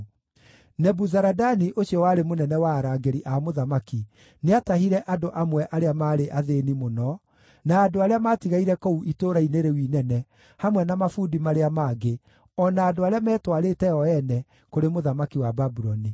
Nebuzaradani ũcio warĩ mũnene wa arangĩri a mũthamaki nĩatahire andũ amwe arĩa maarĩ athĩĩni mũno, na andũ arĩa maatigaire kũu itũũra-inĩ rĩu inene, hamwe na mabundi marĩa mangĩ, o na andũ arĩa metwarĩte o ene kũrĩ mũthamaki wa Babuloni.